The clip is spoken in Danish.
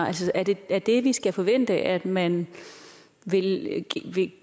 altså er det er det vi skal forvente at man vil